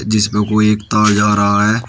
जिस पे कोई एक तार जा रहा है।